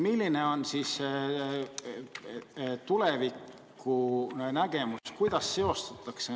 Milline on tulevikunägemus?